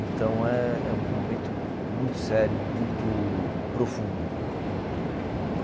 Então é é um momento muito sério, muito profundo.